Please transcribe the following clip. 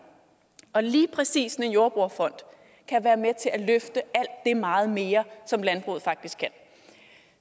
og lige præcis en jordbrugerfond kan være med til at løfte alt det meget mere som landbruget faktisk kan